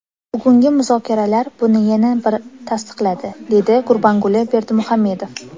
Bugungi muzokaralar buni yana bir tasdiqladi”, dedi Gurbanguli Berdimuhamedov.